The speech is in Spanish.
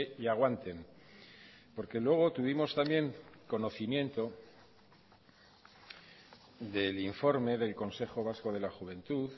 y aguanten porque luego tuvimos también conocimiento del informe del consejo vasco de la juventud